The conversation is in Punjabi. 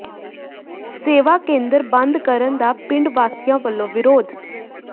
ਸੇਵਾ ਕੇਂਦਰ ਬੰਦ ਕਰਨ ਦਾ ਪਿੰਡ ਵਾਸੀਆਂ ਵੱਲੋਂ ਵਿਰੋਧ